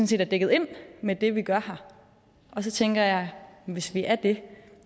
set er dækket ind med det vi gør her og så tænker jeg at hvis vi er det